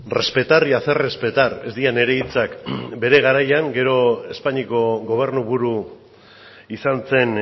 respetar y hacer respetar ez dira nire hitzak bere garaian gero espainiako gobernu buru izan zen